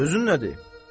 Sözün nədir?